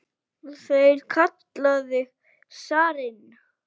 Þeir kalla þig zarinn!